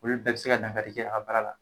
Olu bɛ bi se ka dangari a baara la